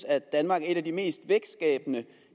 at danmark er et af de mest vækstskabende